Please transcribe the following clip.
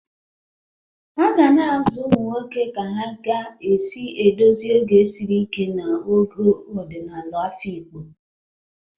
A ga-azụ ụmụ nwoke ka ha ga-esi edozi oge siri ike na ogo ọdịnala afikpo